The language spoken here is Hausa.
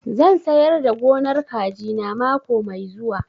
Zan sayar da gonar kaji na mako mai zuwa